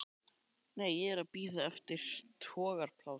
Nei, ég er að bíða eftir togaraplássi.